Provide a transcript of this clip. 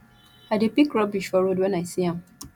i dey pick rubbish for road wen i see am